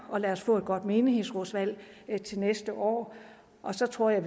og lad os få et godt menighedsrådsvalg til næste år og så tror jeg